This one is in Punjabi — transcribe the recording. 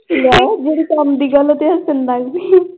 ਲੈ ਜਿਹੜੀ ਕੰਮ ਦੀ ਗੱਲ ਤੇ ਹੱਸਣ ਲੱਗ ਪਈ।